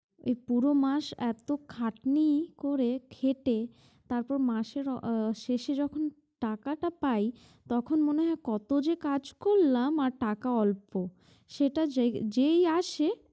এই পুরো মাস এতো খাটনি করে খেটে তারপর মাসের আহ শেষে যখন টাকাটা পাই তখন মনে হয় কতো যে কাজ করলাম আর টাকা অল্প সেটা যেই আসে